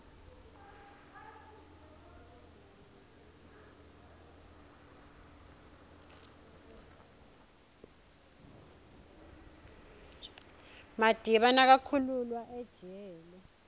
amadiba nakakhululwa ejele